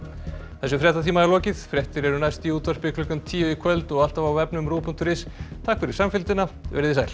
þessum fréttatíma er lokið fréttir eru næst í útvarpi klukkan tíu í kvöld og alltaf á vefnum ruv punktur is takk fyrir samfylgdina verið þið sæl